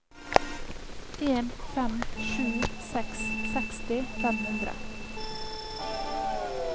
en fem sju seks seksti fem hundre